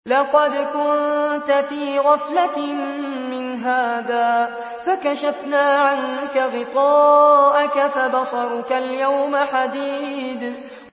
لَّقَدْ كُنتَ فِي غَفْلَةٍ مِّنْ هَٰذَا فَكَشَفْنَا عَنكَ غِطَاءَكَ فَبَصَرُكَ الْيَوْمَ حَدِيدٌ